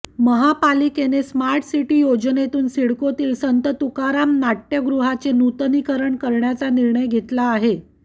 महापालिकेने smart city योजनेतून सिडकोतील संत तुकाराम नाट्यगृहाचे नूतनीकरण करण्याचा निर्णय घेतला आहे